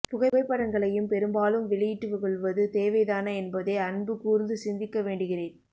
புகைப் படங்களையும் பெரும்பாலும் வெளியிட்டு கொள்வது தேவைதான என்பதை அன்புகூர்ந்து சிந்திக்க வேண்டுகிறேன்